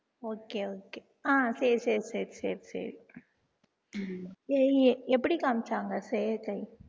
okay okay ஆஹ் சரி சரி சரி சரி சரி எப்படி காமிச்சாங்க